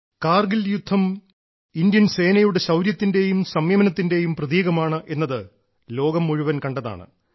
കാർഗിൽ യുദ്ധം ഇന്ത്യൻ സേനയുടെ ശൌര്യത്തിന്റെയും സംയമനത്തിന്റെയും പ്രതീകമാണ് എന്നത് ലോകം മുഴുവൻ കണ്ടതാണ്